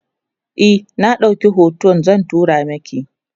e in na ɗauki hoton zan turo maki